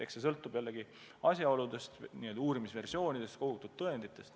Kõik sõltub asjaoludest, n-ö uurimisversioonidest, kogutud tõenditest.